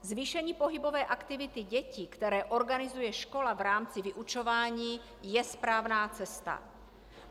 Zvýšení pohybové aktivity dětí, které organizuje škola v rámci vyučování, je správná cesta.